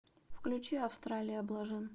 включи австралия блажин